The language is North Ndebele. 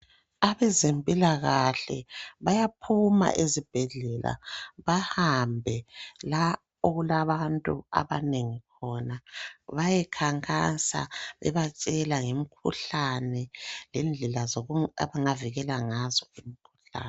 Abezempilakahle bayaphuma ezibhedlela. Behambe la okulabantu abanengi khona. Bayekhankasa, bebatshela ngemikhuhlane, lendlela abangavikela ngazo imikhuhlane,